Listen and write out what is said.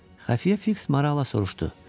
Xəfiyyə Fiks Marala soruşdu: